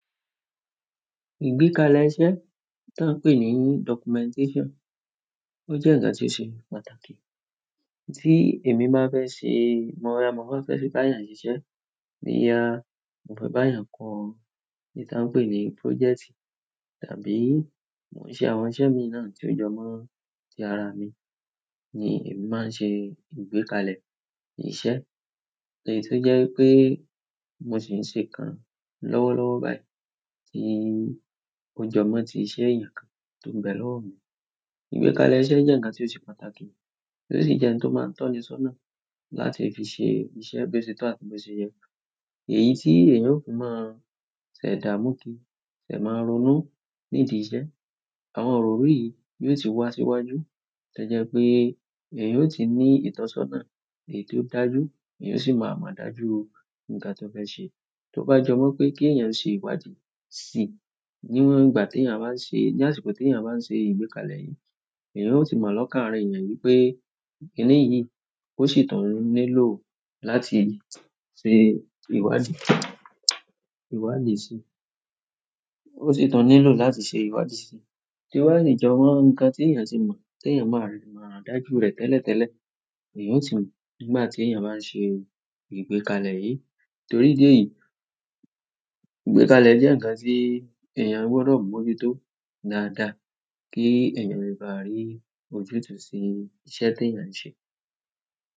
Ìgbékalẹ̀ iṣẹ́ tan ń pè ní documentation. Ó jẹ́ ǹkan ti ṣe pàtàkì. Tí èmi má nfẹ́ ṣe, mo rà má n fẹ́ bá yàn siṣẹ́ iya, mo fẹ́ bá ìyàn kọ́ ní táa ń pè ní project tàbí mò ń ṣe àwọn iṣẹ́ mi náà tí ó jọ mọ́ ti ara mi ni èmi máa ṣe ìgbékalẹ̀ ìṣe. Ẹ̀ti o jẹ́ pé mo sì ń ṣe kan lọ́wọ́ lọ́wọ́ báyìí tí ó jọ mọ́ ti iṣẹ́ eyàn kan tó ń bẹ̀ lọ́wọ́ mi. Ìgbékalẹ̀ iṣẹ́ jẹ́ ǹkan ti ó ṣe pàtàkì, ó sì jẹ́ ohun tó máa ń tọ́ni sọ́nà láti fi ṣe iṣẹ́ bose tọ́ àti bose yẹ. Èyí tí èèyàn ó fi máa ṣẹ̀ dá mú kí ṣẹ̀ máa ronú nídi ìsẹ́. Àwọn ọ̀rọ̀ yìí yóò ti wá síwájú, to jẹ́ pé èèyàn ò ti ní ìtọ́sọ́nà èyí ti o dájú, èèyàn o sì máa mọ̀ dájú ǹkan tó fẹ́ ṣe. Tó bá jọ mọ́ pé kí èèyàn ṣe ìwádìí sí níwọ̀n ìgbà tí èèyàn bá ń ṣe, ní àsìkò tí èèyàn bá ń ṣe ìgbékalẹ̀ yìí, èèyàn ó sì máa lọ́kàn ára èèyàn wípé kíní yìí ó sì tọ̀n nílò láti ṣe ìwádìí, ìwádìí sí i. Ó sì tọ̀n nílò láti ṣe ìwádìí sí i. To bále jọ mọ́ ǹkan tí èèyàn ti mọ̀, tí èèyàn máa mo, dájú rẹ̀ tẹ́lẹ̀ tẹ́lẹ̀, èèyàn ó tì mọ̀ nígbà ti èèyàn bá ń ṣe ìgbékalẹ̀ yìí. Torí idí ẹ̀yìí, ìgbékalẹ̀ jẹ́ ǹkan tí èèyàn gbọdọ̀ mọju tó dáadáa kí èèyàn ba le rí ojútùú sí iṣẹ̀ tí èèyàn ń ṣe.